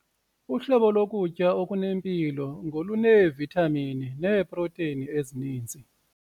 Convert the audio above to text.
Uhlobo lokutya okunempilo ngoluneevithamini neeprotheyini ezininzi.